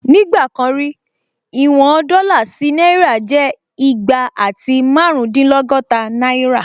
Nígbà kan rí, ìwọn dọ́là sí náírà jẹ́ igba àti márùndínlọ́gọ́ta náírà